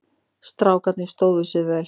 Strákarnir stóðu sig mjög vel.